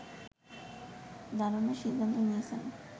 দাঁড়ানোর সিদ্ধান্ত নিয়েছেন